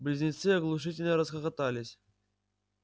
близнецы оглушительно расхохотались